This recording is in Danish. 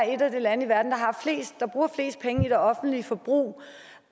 et af de lande i verden der bruger flest penge i offentligt forbrug